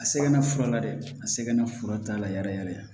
A sɛgɛnna fura la dɛ a sɛgɛnna fura t'a la yɛrɛ yɛrɛ